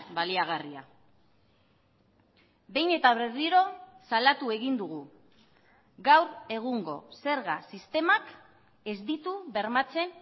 baliagarria behin eta berriro salatu egin dugu gaur egungo zerga sistemak ez ditu bermatzen